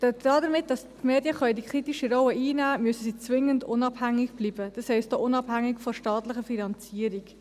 Damit die Medien diese kritische Rolle einnehmen können, müssen sie zwingend unabhängig bleiben, das heisst auch unabhängig von staatlicher Finanzierung.